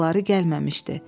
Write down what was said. Ayaqları gəlməmişdi.